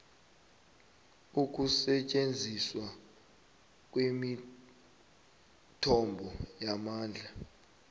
ukusetjenziswa kwemithombo yamandla